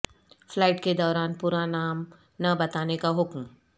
flight کے دوران پورا نام نہ بتانے کا حکم